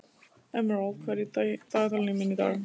Emerald, hvað er í dagatalinu mínu í dag?